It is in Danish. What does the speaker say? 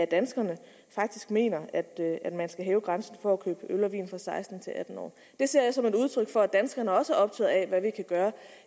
danskerne faktisk mener at man skal hæve grænsen for at købe øl og vin fra seksten år til atten år det ser jeg som et udtryk for at danskerne også er optaget af hvad vi kan gøre